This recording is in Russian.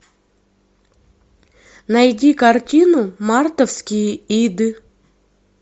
найди картину мартовские иды